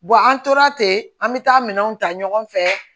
an tora ten an bɛ taa minɛnw ta ɲɔgɔn fɛ